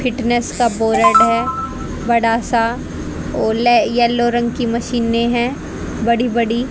fitness का board है बड़ा सा और येलो रंग की मशीने है बड़ी बड़ी--